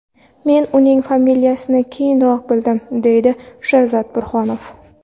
Men uning familiyasini keyinroq bildim, deydi Sherzod Burhonov.